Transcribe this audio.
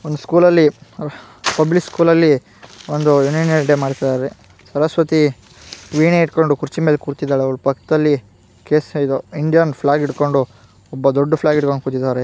ಒಂದು ಸ್ಕೂಲ್ ಅಲ್ಲಿ public school ಅಲ್ಲಿ ಒಂದು ಅನುಯಲ್ ಡೆ ಮಾಡ್ತಿದ್ದಾರೆ ಸರಸ್ವತಿ ವೀಣೆ ಇಟ್ಟ್ಕೊಂಡು ಕುರ್ಚಿ ಮೇಲೆ ಕೂತಿದ್ದಾರೆ ಅವರ ಪಕ್ಕದಲ್ಲಿ ಕೇಸ್ ಇದು ಇಂಡಿಯನ್ ಫ್ಲಾಗ್ ಹಿಡ್ಕೊಂಡು ಒಬ್ಬ ದೊಡ್ಡ್ ಫ್ಲಾಗ್ ಹಿಡ್ಕೊಂಡು ಕೂತಿದ್ದಾರೆ .